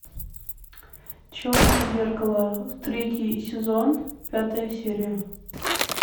черное зеркало третий сезон пятая серия